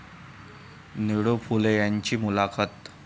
निळू फुले यांची मुलाखत